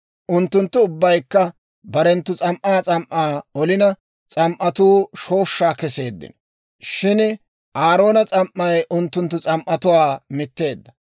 Unttunttu ubbaykka barenttu s'am"aa s'am"aa olina, s'am"atuu shooshshaa kesseeddino; shin Aaroona s'am"ay unttunttu s'am"atuwaa mitteedda.